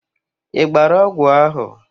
Ị gbara ọgwụ ahụ?